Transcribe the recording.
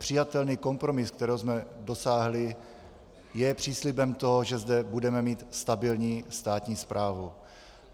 Přijatelný kompromis, kterého jsme dosáhli, je příslibem toho, že zde budeme mít stabilní státní správu.